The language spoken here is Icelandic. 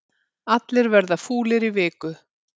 Allir verða fúlir í viku